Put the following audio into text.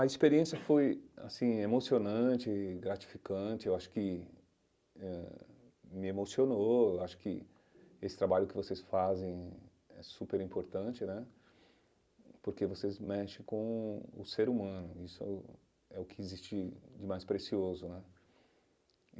A experiência foi assim emocionante, gratificante, eu acho que eh me emocionou, acho que esse trabalho que vocês fazem é super importante né, porque vocês mexem com o ser humano, isso é o que existe de mais precioso né.